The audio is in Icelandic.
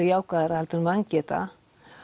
jákvæðara heldur en vangeta